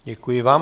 Děkuji vám.